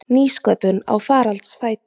Nýsköpun á faraldsfæti